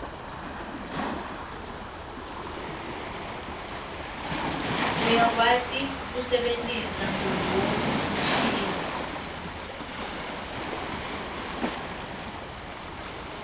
uyakwati kuse bentisa ngonduo mshini